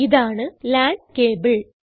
ഇതാണ് LAN cable